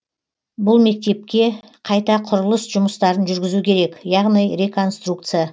бұл мектепке қайта құрылыс жұмыстарын жүргізу керек яғни реконструкция